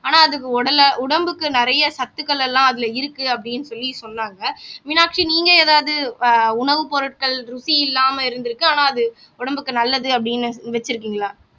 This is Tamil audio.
ஆனா அதுக்கு உடல உடம்புக்கு நிறைய சத்துக்கள் எல்லாம் அதுல இருக்கு அப்படின்னு சொல்லி சொன்னாங்க மீனாட்சி நீங்க ஏதாவது ஆஹ் உணவுப் பொருட்கள் ருசி இல்லாம இருந்திருக்கு ஆனா அது உடம்புக்கு நல்லது அப்படின்னு வச்சிருக்கீங்களா